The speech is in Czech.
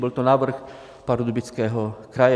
Byl to návrh Pardubického kraje.